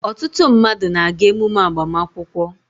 ọtụtụ mmadụ na-aga emume agbamakwụkwọ